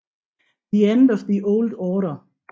The End of the Old Order